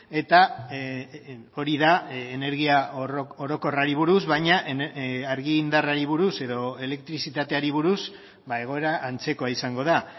eta hori da energia orokorrari buruz baina argindarrari buruz edo elektrizitateari buruz egoera antzekoa izango da